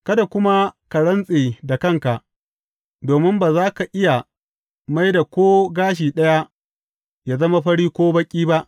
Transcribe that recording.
Kada kuma ka rantse da kanka, domin ba za ka iya mai da ko gashi ɗaya yă zama fari ko baƙi ba.